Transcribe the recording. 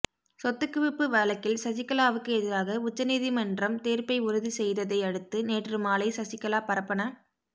சொத்து குவிப்பு வழக்கில் சசிகலாவுக்கு எதிராக உச்ச நீதிமன்ரம் தீர்ப்பை உறுதி செய்ததை அடுத்து நேற்று மாலை சசிகலா பரப்பன